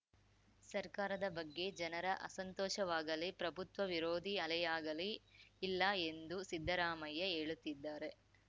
ಸರ್ಕಾರದ ಬಗ್ಗೆ ಜನರ ಅಸಂತೋಷವಾಗಲೀ ಪ್ರಭುತ್ವ ವಿರೋಧಿ ಅಲೆಯಾಗಲೀ ಇಲ್ಲ ಎಂದು ಸಿದ್ದರಾಮಯ್ಯ ಹೇಳುತ್ತಿದ್ದಾರೆ